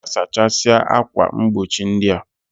Ga sachasia akwa mgbochi ndia!